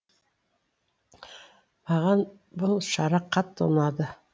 маған бұл шара қатты ұнады